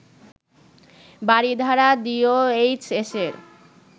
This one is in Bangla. বারিধারা ডিওএইচএসের